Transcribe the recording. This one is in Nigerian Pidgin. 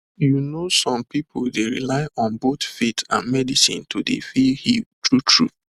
you know some pipu dey rely on both faith and medicine to dey feel healed true true